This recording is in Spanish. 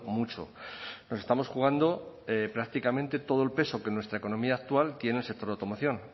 mucho nos estamos jugando prácticamente todo el peso que en nuestra economía actual tiene el sector automoción